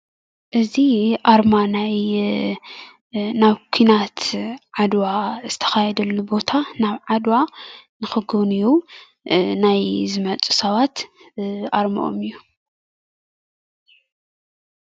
እዚ ኣርማ ናብ ኩናት ዓድዋ ዝተካየደሉ ቦታ ናብ ዓድዋ ንክጉብንዩ ናይ ንዝመፁ ሰባት ኣርመኦም እዩ፡፡